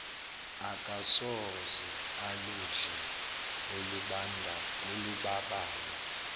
akasoze aludle olubabayo